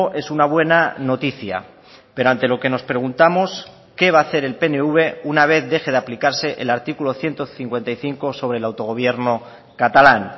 es una buena noticia pero ante lo que nos preguntamos qué va a hacer el pnv una vez deje de aplicarse el artículo ciento cincuenta y cinco sobre el autogobierno catalán